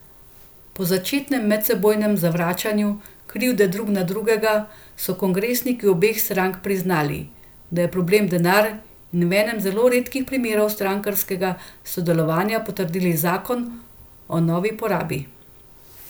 Po začetnem medsebojnem zvračanju krivde drug na drugega so kongresniki obeh strank priznali, da je problem denar in v enem zelo redkih primerov strankarskega sodelovanja potrdili zakon o novi porabi.